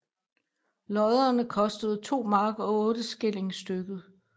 Lodderne kostede 2 mark og 8 skilling stykket